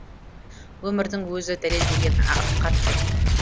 өмірдің өзі дәлелдеген ақиқат қой